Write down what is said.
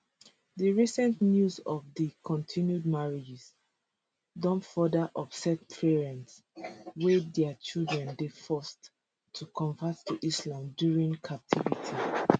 di recent news of di continued marriages don further upset parents wey dia children dey forced to convert to islam during captivity